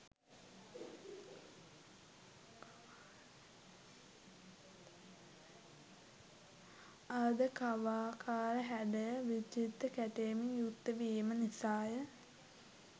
අර්ධ කවාකාර හැඩය විචිත්‍ර කැටයමෙන් යුක්තවීම නිසාය.